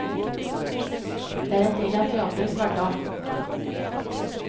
Det er en del av teatrets hverdag.